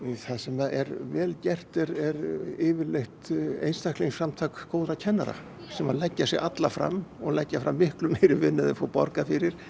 það sem er vel gert er yfirleitt góðra kennara sem að leggja sig alla fram og leggja fram miklu meiri vinnu en þeir fá borgað fyrir